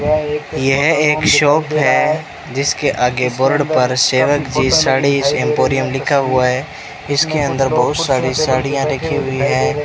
यह एक शॉप हैं जिसके आगे बोर्ड पर सेवग जी साड़ीज एम्पोरियम लिखा हुआ है इसके अंदर बहोत सारी साड़ियाँ रखीं हुई हैं।